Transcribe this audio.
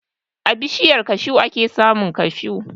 A bishiyar kashu ake samun kashu.